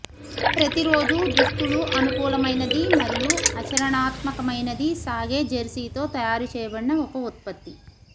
ప్రతిరోజూ దుస్తులు అనుకూలమైనది మరియు ఆచరణాత్మకమైనది సాగే జెర్సీతో తయారు చేయబడిన ఒక ఉత్పత్తి